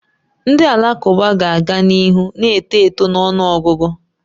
Ndị Alakụba ga-aga n'ihu na-eto eto na ọnụ ọgụgụ.